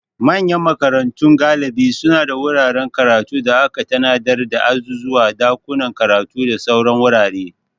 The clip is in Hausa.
Manyan makarantu galibi suna da wuraren karatu da aka tanadar da azuzuwa, dakunan karatu, da sauran wurare.